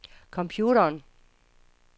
computeren